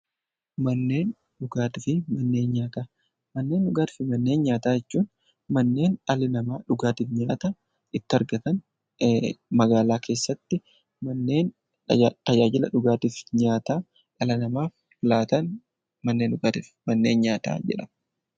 Manneen dhugaatii fi manneen nyaataa. Manneen dhugaatii fi manneen nyaataa jechuun manneen dhalli namaa dhugaatii fi nyaata itti argatan, magaalaa keessattii manneen tajaajila dhugaatii fi nyaata dhala namaaf laatan manneen dhugaatii fi nyaata jedhamu.